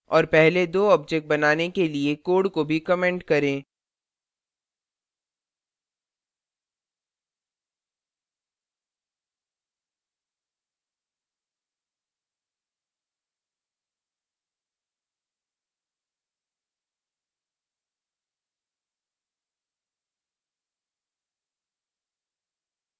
और पहले दो objects बनाने के लिए code को भी comment करें